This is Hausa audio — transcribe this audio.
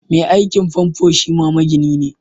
Mai aikin famfo shima magini ne